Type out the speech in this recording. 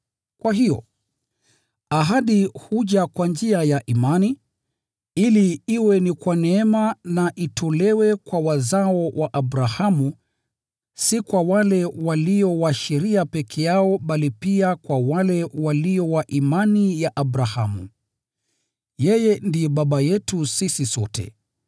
Kwa hiyo, ahadi huja kwa njia ya imani, ili iwe ni kwa neema, na itolewe kwa wazao wa Abrahamu, si kwa wale walio wa sheria peke yao, bali pia kwa wale walio wa imani ya Abrahamu. Yeye ndiye baba yetu sisi sote.